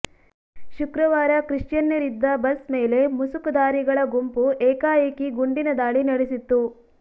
ಶುಕ್ರವಾರ ಕ್ರಿಶ್ಚಿಯನ್ನರಿದ್ದ ಬಸ್ ಮೇಲೆ ಮುಸುಕುಧಾರಿಗಳ ಗುಂಪು ಏಕಾಏಕಿ ಗುಂಡಿನ ದಾಳಿ ನಡೆಸಿತ್ತು